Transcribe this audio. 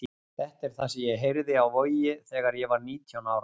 Þetta er það sem ég heyrði á Vogi þegar ég var nítján ára.